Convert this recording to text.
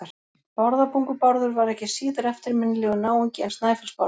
Bárðarbungu-Bárður var ekki síður eftirminnilegur náungi en Snæfellsnes-Bárður.